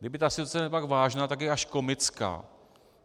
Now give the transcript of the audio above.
Kdyby ta situace nebyla tak vážná, tak je až komická.